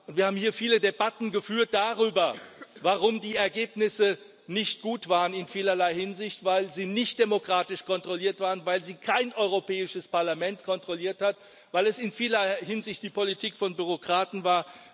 Wir haben hier viele Debatten geführt darüber, warum die Ergebnisse in vielerlei Hinsicht nicht gut waren, weil sie nicht demokratisch kontrolliert waren, weil sie kein Europäisches Parlament kontrolliert hat, weil es in vielerlei Hinsicht die Politik von Bürokraten war.